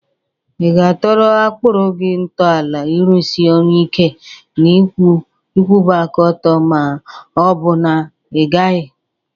Ị ga-atọrọ akpụrụ gị ntọala ịrụsị ọrụ ike na ịkwụba aka ọtọ ma ọ bụ na ị gaghị?